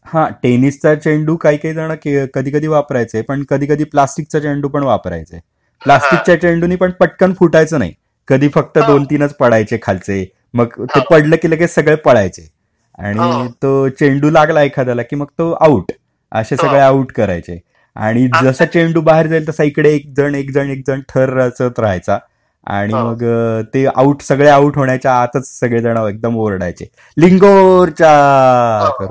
ह टेनिस चा चेंडू काही काही जण कधी कधी वापरायचे पण कधी कधी प्लास्टिकचा चेंडू पण वापरायचे. प्लास्टिक च्या चेंडूंनी पण पटकन फुटायचं नाही. कधी फक्त दोन तीनच पडायचे खालचे, मग पडलं कि सगळे पळायचे, आणि तो चेंडू लागला एखाद्याला कि तो आऊट, असे सगळे आऊट करायचे, आणि जसा चेंडू बाहेर जाईल तास इकडे एकजण एकजण थर रचत रहायचा, आणि मग सगळे आऊट होण्याच्या आताच सगळे जाणं एकदम ओरडायचे लिंगोरच्या करून अस.